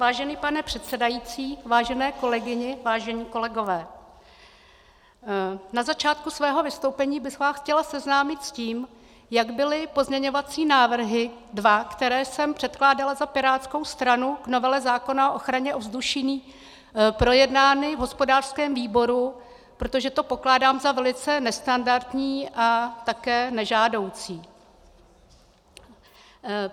Vážený pane předsedající, vážené kolegyně, vážení kolegové, na začátku svého vystoupení bych vás chtěla seznámit s tím, jak byly pozměňovací návrhy, dva, které jsem předkládala za pirátskou stranu k novele zákona o ochraně ovzduší, projednány v hospodářském výboru, protože to pokládám za velice nestandardní a také nežádoucí.